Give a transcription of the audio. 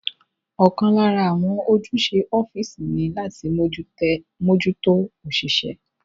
Ọ̀kan lára àwọn ojúṣe ọ́físì ní láti mójútó òṣìṣẹ́